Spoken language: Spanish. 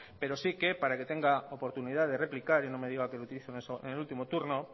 pero sí que para que tenga oportunidad de replicar y no me diga que lo utilizo en el último turno